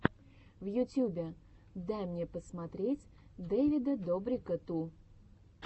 в ютьюбе дай мне посмотреть дэвида добрика ту